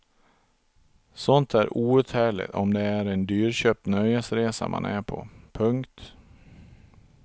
Sånt är outhärdligt om det är en dyrköpt nöjesresa man är på. punkt